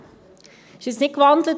Er wurde jetzt nicht gewandelt.